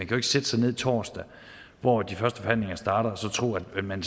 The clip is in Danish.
kan sætte sig ned torsdag hvor de første forhandlinger starter og så tro at man